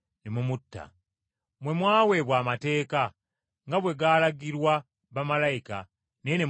Mmwe mwaweebwa amateeka nga bwe gaalagirwa bamalayika naye ne mutagagondera.”